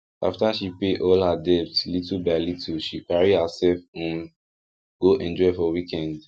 after she pay all her debt little by little she carry herself um go enjoy for weekend